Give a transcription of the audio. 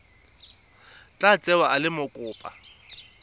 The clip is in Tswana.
tla tsewa e le mokopa